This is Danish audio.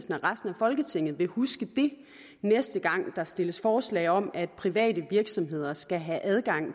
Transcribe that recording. at resten af folketinget vil huske det næste gang der stilles forslag om at private virksomheder skal have adgang